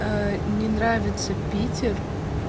не нравится питер